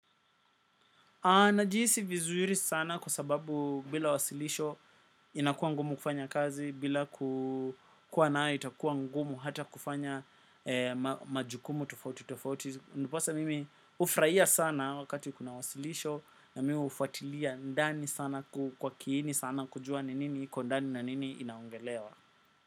Najihisi vizuri sana kwa sababu bila wasilisho inakuwa ngumu kufanya kazi bila kukua nayo itakuwa ngumu hata kufanya majukumu tofauti tofauti. Ndiposa mimi hufraia sana wakati kuna wasilisho na mimi ufatilia ndani sana kwa kiini sana kujua ninini iko ndani na nini inaongelewa.